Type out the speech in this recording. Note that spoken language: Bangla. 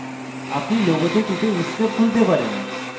আপনি লোগোতে টিপে inkscape খুলতে পারেন